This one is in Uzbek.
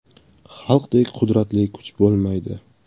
Xalqdek qudratli kuch bo‘lmaydi’.